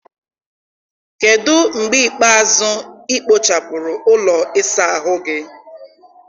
kedụ mgbe ikpeazụ ị kpochapụrụ ụlọ ịsa ahụ gị?